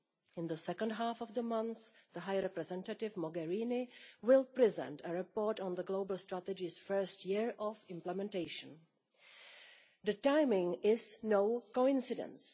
In the second half of the month, High Representative Mogherini will present a report on the global strategy's first year of implementation. The timing is no coincidence.